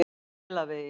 Melavegi